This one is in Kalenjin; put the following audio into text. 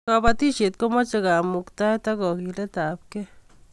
kabatishiet komache kamuktaet ak kagilet ab kei